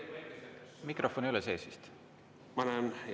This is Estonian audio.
Mikrofon ei ole vist sees?